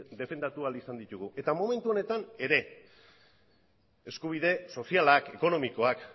defendatu ahal izan ditugu momentu honetan ere bai eskubide sozialak ekonomikoak